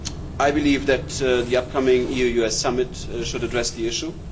I believe that the upcoming EU US summit should address this issue.